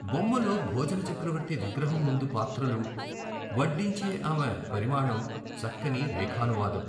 బొమ్మలో భోజనచక్రవర్తి విగ్రహం ముందు పాత్రలు, వడ్డించే ఆమె పరిమాణం చక్కని రేఖానువాదం.